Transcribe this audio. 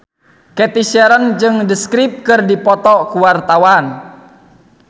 Cathy Sharon jeung The Script keur dipoto ku wartawan